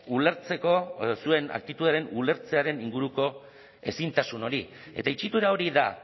ulertzeko edo zuen aktitudearen ulertzearen inguruko ezintasun hori eta itxitura hori da